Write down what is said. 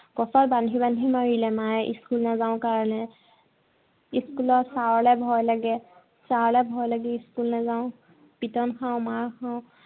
school ৰ sir লে ভয় লাগে। sir লে ভয় লাগি school নেযাঁও। পিটন খাঁও, মাৰ খাঁও।